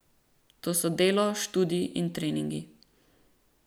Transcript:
To so delo, študij in treningi.